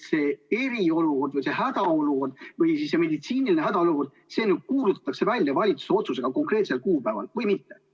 Kas see eriolukord või hädaolukord või meditsiiniline hädaolukord kuulutatakse välja valitsuse otsusega konkreetsel kuupäeval?